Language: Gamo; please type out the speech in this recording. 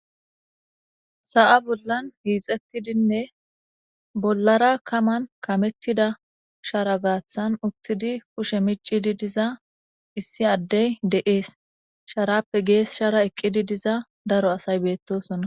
Sa'ay bollan hixetidinne bollara kaman kametidi shara gathan utidi kushshe miccidi diza issi Adey de'es. Sharappe geshara diza daro asay de'osonna.